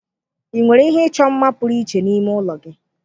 Ị nwere ihe ịchọ mma pụrụ iche n'ime ụlọ gị?